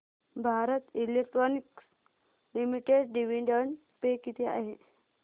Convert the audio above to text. Bharat electronics limited dividend pay किती आहे